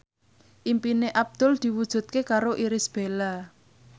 impine Abdul diwujudke karo Irish Bella